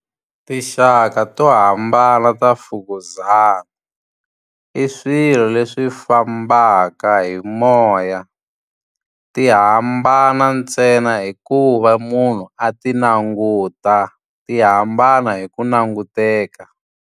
Tinxaka to hambana ta mfukuzana. I swilo leswi fambaka hi moya. Ti hambana ntsena hi ku va munhu a ti languta. Ti hambana hi ku languteka.